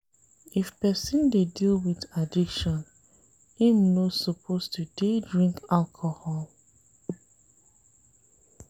If person dey deal with addiction, im no suppose to dey drink alcohol.